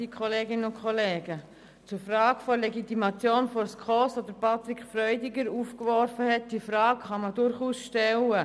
Zur Frage der Legitimation der SKOS, die Patrick Freudiger aufgeworfen hat: Diese Frage kann durchaus gestellt werden.